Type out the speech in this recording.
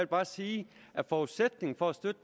bare sige at forudsætningen for støtte